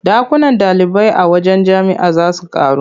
Ɗakunan ɗalibai a wajen jami'a za su ƙaru.